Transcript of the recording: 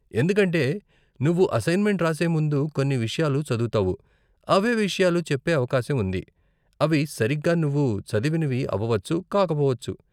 ఎందుకంటే నువ్వు అసైన్మెంట్ రాసే ముందు కొన్ని విషయాలు చదువుతావు, అవే విషయాలు చెప్పే అవకాశం ఉంది, అవి సరిగ్గా నువ్వు చదివినవి అవవచ్చు, కాకపోవచ్చు.